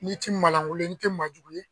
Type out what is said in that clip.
N'i ti malankolon ye, n'i ti maa jugu ye